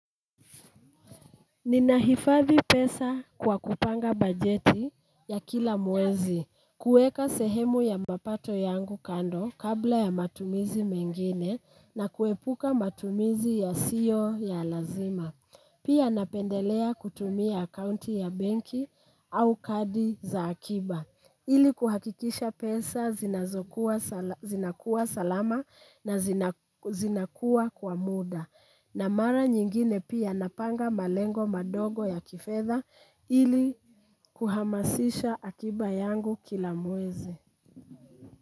Ninahifathi pesa kwa kupanga bajeti ya kila mwezi, kueka sehemu ya mapato yangu kando kabla ya matumizi mengine na kuepuka matumizi yasiyo ya lazima. Pia napendelea kutumia akaunti ya benki au kadi za akiba. Ili kuhakikisha pesa zinakuwa salama na zinakuwa kwa muda. Na mara nyingine pia napanga malengo madogo ya kifedha ili kuhamasisha akiba yangu kila mwezi.